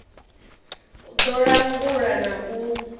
u ḓo langula na u